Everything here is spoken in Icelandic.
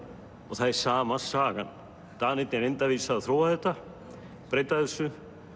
og það er sama sagan Danirnir reyndu að vísu að þróa þetta breyta þessu